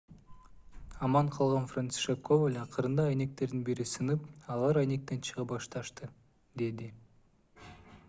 аман калган францишек коваль акырында айнектердин бири сынып алар айнектен чыга башташты - деди